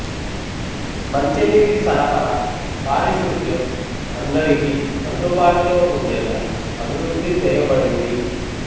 మంచినీటి సరఫరా పారిశుద్ధ్యం అందరికీ అందుబాటులో ఉండేలా అభివృద్ధి చేయబడింది